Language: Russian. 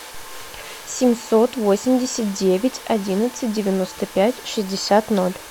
семьсот восемьдесят девять одиннадцать девяносто пять шестьдесят ноль